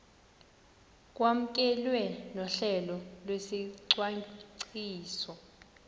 kwamkelwe nohlelo lwesicwangciso